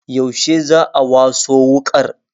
Yaushe za'a waso wuƙar?